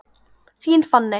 Þín Fanney.